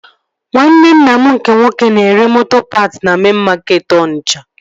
Nwanne nna m nke nwoke na-ere moto paat na mein makeetị Onitsha